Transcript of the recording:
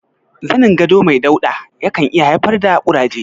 Zanin gado mai dauɗa ya kan iya haifar da ƙuraje.